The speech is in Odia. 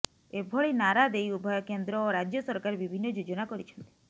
ଏଭଳି ନାରା ଦେଇ ଉଭୟ କେନ୍ଦ୍ର ଓ ରାଜ୍ୟ ସରକାର ବିଭିନ୍ନ ଯୋଜନା କରିଛନ୍ତି